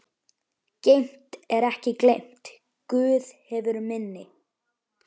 Geymt er ekki gleymt, Guð hefur minni.